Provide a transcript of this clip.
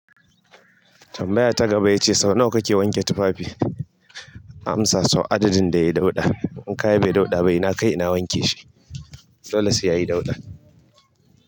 Tambaya ta gaba ya ce sau nawa kake wanke tufafi? Amsa sau adadin da ya dauɗa. In kaya bai dauɗa ba ina kai ina wanke shi. Dolle sai yayi dauɗa.